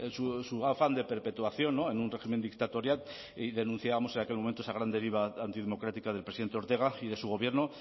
su afán de perpetuación en un régimen dictatorial y denunciábamos en aquel momento esa gran deriva antidemocrática del presidente ortega y de su gobierno